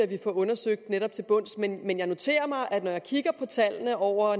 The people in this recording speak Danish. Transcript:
det undersøgt til bunds men jeg noterer mig at når jeg kigger på tallene over